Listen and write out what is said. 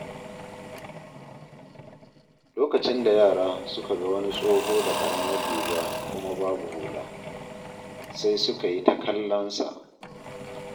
Lokacin da yara suka ga wani tsoho da ƙaramar riga kuma babu hula, sai suka yi ta kallon sa.